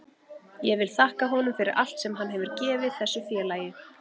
Ég vil þakka honum fyrir allt sem hann hefur gefið þessu félagi.